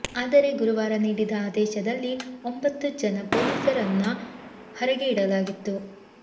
ಆದರೆ ಗುರುವಾರ ನೀಡಿದ ಆದೇಶದಲ್ಲಿ ಒಂಬತ್ತು ಜನ ಪೊಲೀಸರನ್ನು ಹೊರಗೆ ಇಡಲಾಗಿತ್ತು